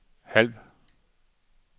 halv